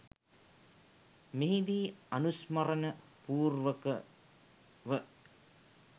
මෙහිදී අනුස්මරණ පූර්වකව